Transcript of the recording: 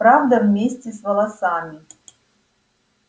правда вместе с волосами